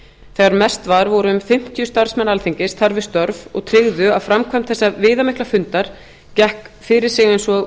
þegar mest var voru um fimmtíu starfsmenn alþingis þar við störf og tryggðu að framkvæmd þessa viðamikla fundar gekk fyrir sig eins og